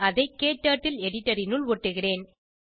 அதை க்டர்ட்டில் எடிட்டர் னுள் ஒட்டுகிறேன்